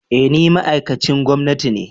Eh ni ma'aikacin gwamnati ne